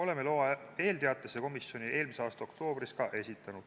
Oleme loa eelteatise komisjoni eelmise aasta oktoobris ka esitanud.